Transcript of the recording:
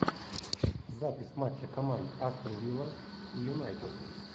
запись матча команд астон вилла и юнайтед